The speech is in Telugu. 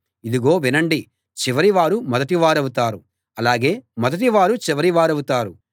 ఇదిగో వినండి చివరి వారు మొదటి వారవుతారు అలాగే మొదటివారు చివరి వారవుతారు